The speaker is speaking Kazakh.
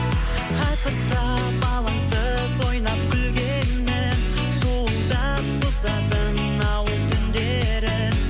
асырсап алаңсыз ойнап күлгенім шуылдап бұзатын ауыл түндерін